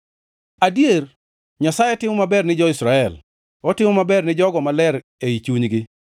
Adier Nyasaye timo maber ni jo-Israel, otimo maber ne jogo maler ei chunygi.